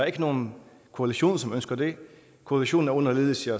ikke nogen koalition som ønsker det koalitionen er under ledelse